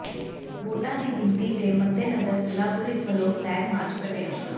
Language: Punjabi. ਵੋਟਾਂ ਦੀ ਗਿਣਤੀ ਦੇ ਮੱਦੇਨਜ਼ਰ ਜ਼ਿਲ੍ਹਾ ਪੁਲਿਸ ਵੱਲੋਂ ਫਲੈਗ ਮਾਰਚ ਕੱਢਿਆ